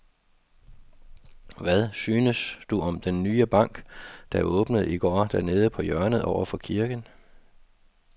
Hvad synes du om den nye bank, der åbnede i går dernede på hjørnet over for kirken?